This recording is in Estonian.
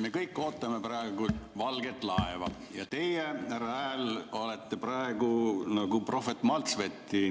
Me kõik ootame valget laeva ja teie, härra Hääl, olete praegu nagu prohvet Maltsveti